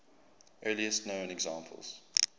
earliest known examples